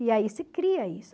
E aí se cria isso.